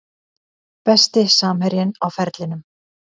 Besti samherjinn á ferlinum?